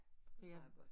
Det meget godt